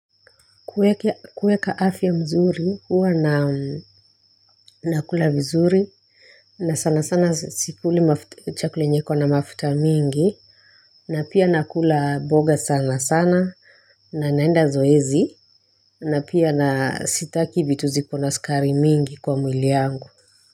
Kueka afya mzuri huwa na nakula mzuri na sana sana sikuli chakula enye iko na mafuta mingi na pia nakula mboga sana sana na naenda zoezi na pia na sitaki vitu zikona sukari mingi kwa mwili yangu.